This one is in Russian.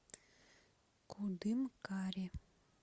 кудымкаре